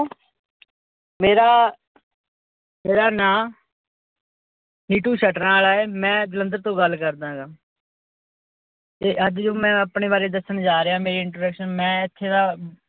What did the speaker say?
ਮੇਰਾ ਮੇਰਾ ਨਾਂ ਨੀਟੂ ਸ਼ਟਰਾਂ ਆਲਾ ਏ ਮੈ ਜਲੰਧਰ ਤੋਂ ਗੱਲ ਕਰਦਾਗਾਂ ਤੇ ਅੱਜ ਜੋ ਮੈ ਆਪਣੇ ਬਾਰੇ ਦੱਸਣ ਜਾ ਰਿਆ ਮੇਰੀ introduction ਮੈ ਇੱਥੇ ਦਾ